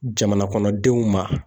Jamana kɔnɔdenw ma